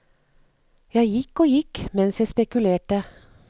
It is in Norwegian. Jeg gikk og gikk mens jeg spekulerte.